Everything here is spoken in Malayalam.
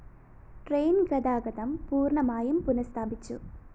ട്രെയിൻ ഗതാഗതം പൂര്‍ണമായും പുനഃസ്ഥാപിച്ചു